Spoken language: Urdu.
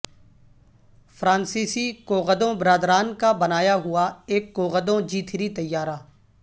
فرانسیسی کوغدوں بردران کا بنایا ہوا ایک کوغدوں جی تھری طیارہ